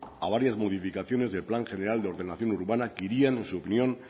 a varias modificaciones del plan general de ordenación urbana que irían en su opinión